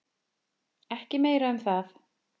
Ekki meira um það.